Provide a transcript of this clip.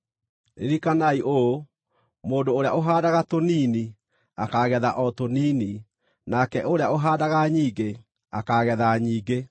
Ririkanai ũũ: Mũndũ ũrĩa ũhaandaga tũnini akaagetha o tũnini, nake ũrĩa ũhaandaga nyingĩ akaagetha nyingĩ.